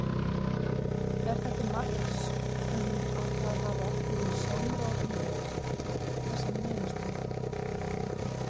Er það til marks um að það hafi ekki verið samráð um þessa niðurstöðum?